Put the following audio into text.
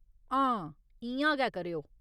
हां, इ'यां गै करेओ।